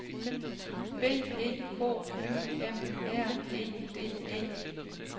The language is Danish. B E K Y M R E D E